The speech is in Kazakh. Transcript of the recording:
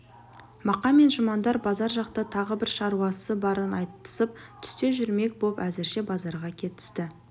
мақа мен жұмандар базар жақта тағы бір шаруасы барын айтысып түсте жүрмек боп әзірше базарға кетісті